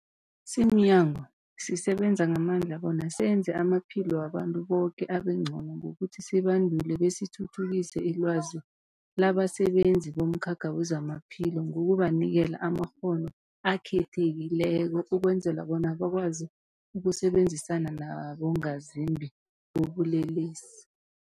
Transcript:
Simnyango, sisebenza ngamandla bona senze amaphilo wabantu boke abengcono ngokuthi sibandule besithuthukise ilwazi labasebenzi bomkhakha wezamaphilo ngokubanikela amakghono akhethekileko ukwenzela bona bakwazi ukusebenzisana nabongazimbi bobulelesi.